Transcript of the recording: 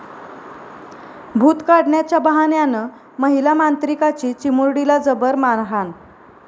भूत काढण्याच्या बहाण्यानं महिला मांत्रिकाची चिमुरडीला जबर मारहाण